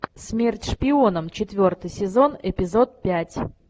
смерть шпионам четвертый сезон эпизод пять